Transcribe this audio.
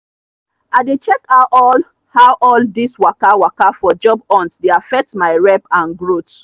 i dey check how all how all this waka waka for job hunt dey affect my rep and growth.